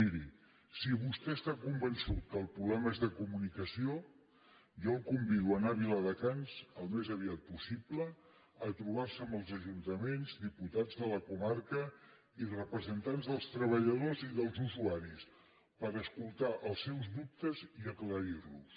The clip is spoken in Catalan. miri si vostè està convençut que el problema és de comunicació jo el convido a anar a viladecans al més aviat possible a trobar se amb els ajuntaments diputats de la comarca i representants dels treballadors i dels usuaris per escoltar els seus dubtes i aclarir los